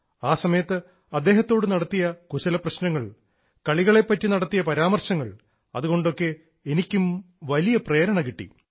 ആ സമയത്ത് അദ്ദേഹത്തോട് നടത്തിയ കുശലപ്രശ്നങ്ങൾ കളികളെപ്പറ്റി നടത്തിയ പരാമർശങ്ങൾ അതുകൊണ്ടൊക്കെ എനിക്കും വലിയ പ്രേരണ കിട്ടി